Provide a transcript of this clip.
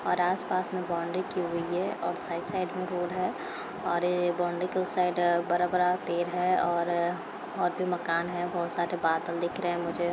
और आसपास में बौंड़री की हुई है और साइड साइड में रोड़ है और ये बाउंड्री के उस साइड बरा-बरा पेड़ है और और भी मकान हैं। बहुत सारे बादल दिख रहे हैं मुझे।